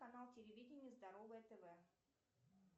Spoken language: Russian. канал телевидения здоровое тв